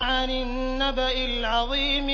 عَنِ النَّبَإِ الْعَظِيمِ